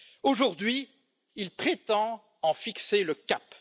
Aujourd'hui, il prétend en fixer le cap!